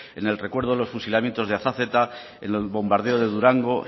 en el recuerdo de los fusilamientos de azazeta en el bombardeo de durango